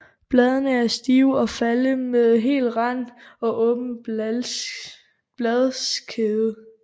Bladene er stive og flade med hel rand og åben bladskede